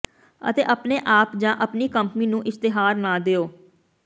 ਅਤੇ ਆਪਣੇ ਆਪ ਜਾਂ ਆਪਣੀ ਕੰਪਨੀ ਨੂੰ ਇਸ਼ਤਿਹਾਰ ਨਾ ਦਿਉ